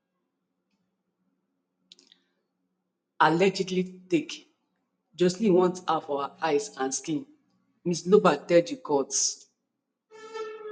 [allegedly take] joshlin want her for her eyes and skin ms lombaard tell di court